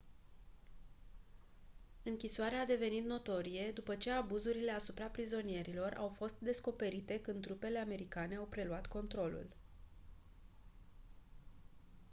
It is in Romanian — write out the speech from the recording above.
închisoarea a devenit notorie după ce abuzurile asupra prizonierilor au fost descoperite când trupele americane au preluat controlul